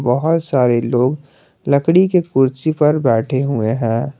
बहोत सारे लोग लकड़ी के कुर्सी पर बैठे हुए हैं।